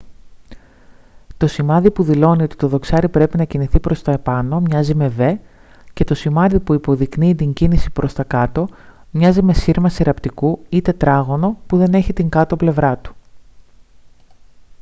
το σημάδι που δηλώνει ότι το δοξάρι πρέπει να κινηθεί προς τα επάνω μοιάζει με v και το σημάδι που υποδεικνύει την κίνηση προς τα κάτω μοιάζει με σύρμα συρραπτικού ή τετράγωνο που δεν έχει την κάτω πλευρά του